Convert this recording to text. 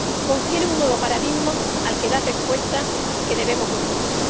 confieren un nuevo paradigma al que dar respuesta y que debemos incluir.